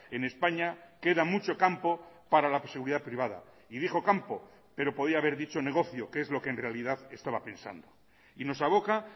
en españa queda mucho campo para la seguridad privada y dijo campo pero podía haber dicho negocio que es lo que en realidad estaba pensando y nos aboca